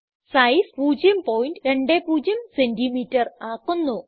size 020സിഎം ആക്കുന്നു